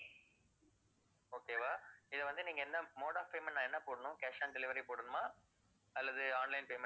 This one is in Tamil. okay வா இது வந்து நீங்க என்ன mode of payment நான் என்ன போடணும் cash on delivery போடணுமா அல்லது online payment